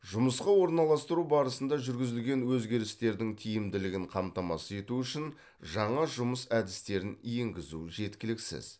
жұмысқа орналастыру барысында жүргізілген өзгерістердің тиімділігін қамтамасыз ету үшін жаңа жұмыс әдістерін енгізу жеткіліксіз